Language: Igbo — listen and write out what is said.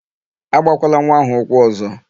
Agbakwala nwa áhụ̀ ụkwụ ọ̀zọ́!